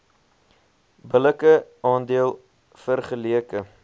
billike aandeel vergeleke